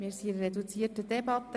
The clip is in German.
Wir führen eine reduzierte Debatte.